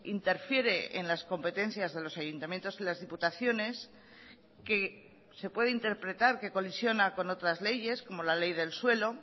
interfiere en las competencias de los ayuntamientos y las diputaciones que se puede interpretar que colisiona con otras leyes como la ley del suelo